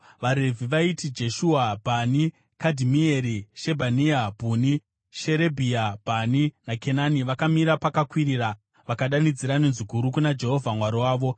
VaRevhi vaiti Jeshua, Bhani, Kadhimieri, Shebhania, Bhuni, Sherebhia, Bhani naKenani, vakamira pakakwirira vakadanidzira nenzwi guru kuna Jehovha Mwari wavo.